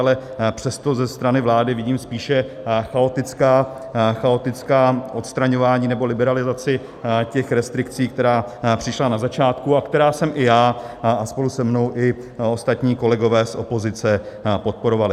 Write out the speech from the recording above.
Ale přesto ze strany vlády vidím spíše chaotická odstraňování, nebo liberalizaci těch restrikcí, které přišly na začátku a které jsme i já a spolu se mnou i ostatní kolegové z opozice podporovali.